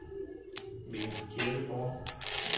Mikkel Kirkegaard